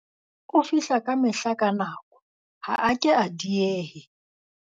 O fihla kamehla ka nako, ha a ke a diehe.